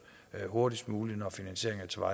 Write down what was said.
hurtigst muligt når finansieringen